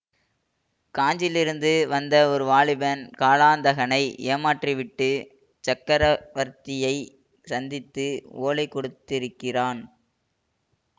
காஞ்சியிலிருந்து வந்த ஒரு வாலிபன் காலாந்தகனை ஏமாற்றி விட்டு சக்கரவர்த்தியை சந்தித்து ஓலை கொடுத்திருக்கிறான்